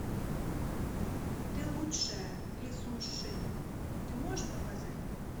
ты лучшая ли сун щин ты можешь показать